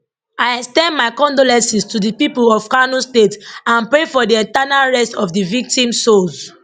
i ex ten d my condolences to di pipo of kano state and pray for di eternal rest of di victims souls